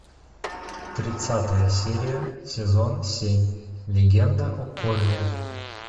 тридцатая серия сезон семь легенда о корре